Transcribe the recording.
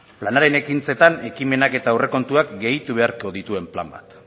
planaren ekintzetan ekimenak eta aurrekontuak gehitu beharko dituen plan bat